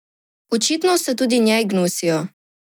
Očitno se tudi njej gnusijo.